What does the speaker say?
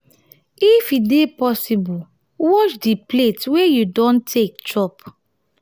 if e dey possible wash di plates wey you don take chop